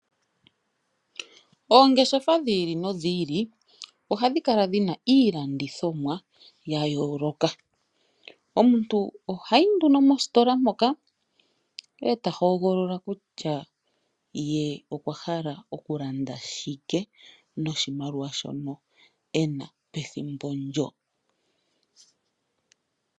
Oongeshefa dhiili nodhiili ohadhi kala dhina iilandithomwa yayooloka. Omuntu ohayi nduno mositola moka e ta hogolola kutya ye okwa hala oku landa shike noshimaliwa shoka ena pethimbo ndyo.